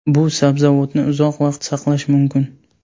Bu sabzavotni uzoq vaqt saqlash mumkin.